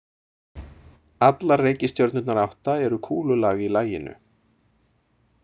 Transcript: Allar reikistjörnurnar átta eru kúlulaga í laginu.